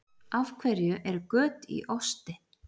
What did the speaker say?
Af hverju eru göt í osti?